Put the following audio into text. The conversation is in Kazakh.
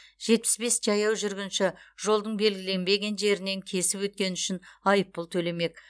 жетпіс бес жаяу жүргінші жолдың белгіленбеген жерінен кесіп өткені үшін айыппұл төлемек